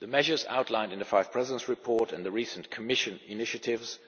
The measures outlined in the Five Presidents' Report and the recent Commission initiatives